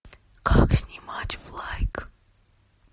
как снимать в лайк